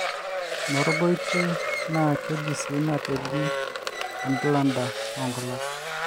enorgoite naa keji sii nateji embaldder oo ngulak